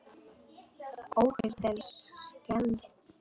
Óhult en skelfd.